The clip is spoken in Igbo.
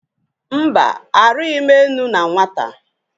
Mba! Arịghị m enu na nwata.